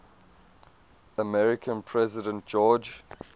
american president george